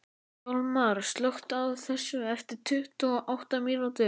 Hjalmar, slökktu á þessu eftir tuttugu og átta mínútur.